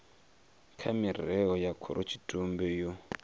kha mirao ya khorotshitumbe yo